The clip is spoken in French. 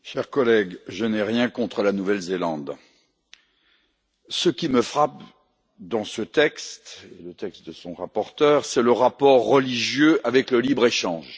Monsieur le Président, chers collègues, je n'ai rien contre la Nouvelle Zélande. Ce qui me frappe dans ce texte, le texte de son rapporteur, c'est le rapport religieux avec le libre échange.